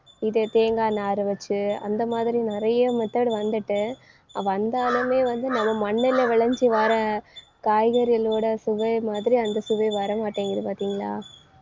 இதே தேங்காய் நாரை வச்சு அந்த மாதிரி நிறைய method வந்துட்டு வந்தாலுமே வந்து நம்ம மண்ணுல விளைஞ்சு வர காய்கறிகளோட சுவை மாதிரி அந்த சுவை வர மாட்டேங்குது பார்த்தீங்களா